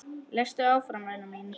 Lestu áfram væna mín!